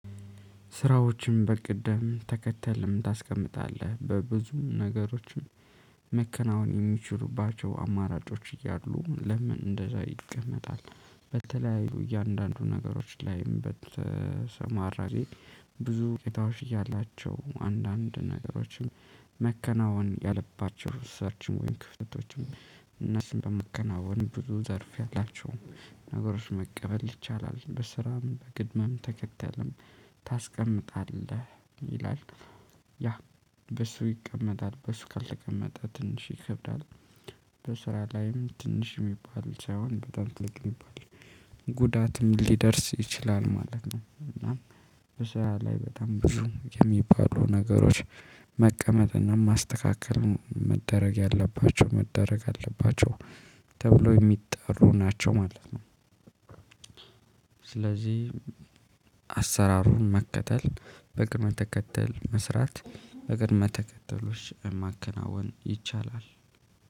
ስራዎችን በቅድም ተከተልም ታስቀምጣለህ በብዙ ነገሮችን መከናወን የሚችሉባቸው አማራጮች እያሉ ለምን እንደዛ ይቀመጣል። በተለያዩ እያንዳንዱ ነገሮች ላይም በተሰማራጊ። ብዙ ቄታዎች እያላቸው አንዳንድ ነገሮችም። መከናወን ያለባቸው ሰርችም ወይም ክፍተቶችም እነሱን በመከናወን ብዙ ዘርፍ ያላቸው። ነገሮች መቀበል ይቻላል በስራም በግድማም ተከተልም ታስቀምጣለህ ይላል። ያ በሱ ይቀመጣል በሱ ካልተቀመጠ ትንሽ ይከብዳል። በስራ ላይም ትንሽ የሚባል ሳይሆን በጣም ትልቅ የሚባል ጉዳትም ሊደርስ ይችላል ማለት ነው። እና። በሰው ላይ በጣም ብዙ የሚባሉ ነገሮች መቀመጥና ማስተካከልን መደረግ ያለባቸው መደረግ አለባቸው። ተብሎ የሚጠሩ ናቸው ማለት ነው። ስለዚህ አሰራሩን መከተል በቅደም መተከተል መስራት በግል መተከተሎች ማከናወን ይቻላል።